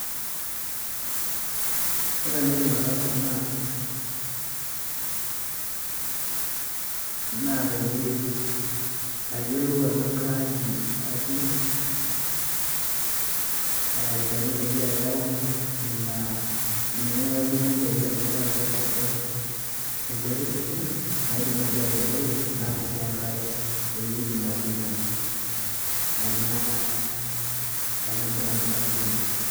ore enaidim ataasa naa naa peyie ayiolou ajo kaji adung olchani peyie ayau ine wueji natudung'uo peyie alotu apic atua enterit sidai naidim naaji atubulu naata sii enkare peyie aidim atuuno ena ena branch natudung'uo.